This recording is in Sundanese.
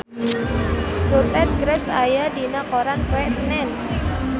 Rupert Graves aya dina koran poe Senen